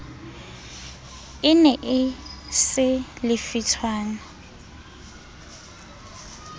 e ne e se lefitshwana